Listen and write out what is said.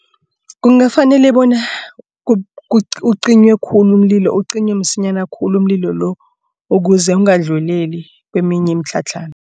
Kungafanele bona ucinywe khulu umlilo ucinywe msinyana khulu umlilo lo ukuze ongadluleli kweminye imitlhatlhana.